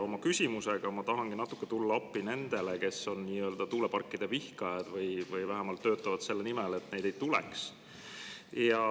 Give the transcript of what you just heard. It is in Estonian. Oma küsimusega ma tahan natuke tulla appi nendele, kes on tuuleparkide vihkajad või vähemalt töötavad selle nimel, et neid ei tuleks.